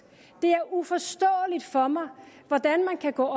det er uforståeligt for mig hvordan man kan gå